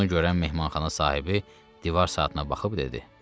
Bunu görən mehmanxana sahibi divar saatına baxıb dedi.